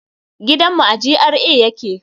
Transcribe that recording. Gidan mu a GRA yake